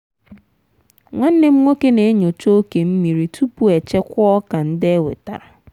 nwanne m nwoke na-enyocha oke mmiri tupu echekwaa ọka ndị e wetara.